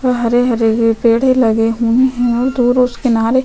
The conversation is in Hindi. हरे-हरे पेड़े लगे हुए है दूर उस किनारे--